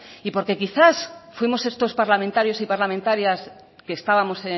y porque quizás fuimos estos parlamentarios y parlamentarias que estábamos